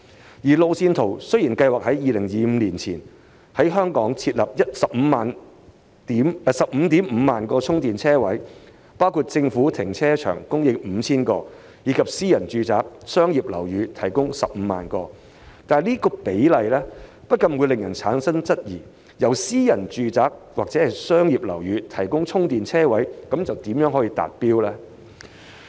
雖然按路線圖計劃在2025年前在本港設立 155,000 個充電車位，包括在政府停車場供應 5,000 個，以及在私人住宅和商業樓宇提供 150,000 個，但這比例不禁令人質疑，私人住宅或商業樓宇提供充電車位的目標如何達成。